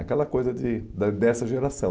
Aquela coisa de da dessa geração.